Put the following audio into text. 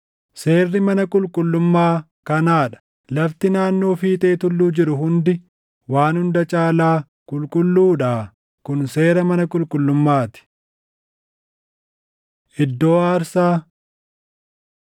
“Seerri mana qulqullummaa kanaa dha: Lafti naannoo fiixee tulluu jiru hundi waan hunda caalaa qulqulluudhaa. Kun seera mana qulqullummaa ti. Iddoo Aarsaa